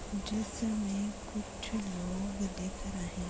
जिसमें कुछ लोग दिख रहे --